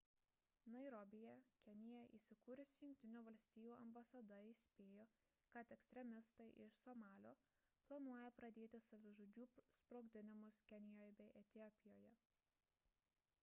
nairobyje kenija įsikūrusi jungtinių valstijų ambasada įspėjo kad ekstremistai iš somalio planuoja pradėti savižudžių sprogdinimus kenijoje bei etiopijoje